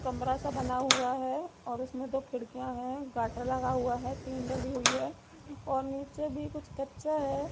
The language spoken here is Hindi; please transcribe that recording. कमरा सा बना हुआ है और उसमें दो खिड़कियां है गाटर लगा हुआ है टीन डली हुई है और नीचे भी कुछ कच्चा है।